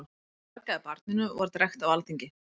Hún fargaði barninu og var drekkt á alþingi.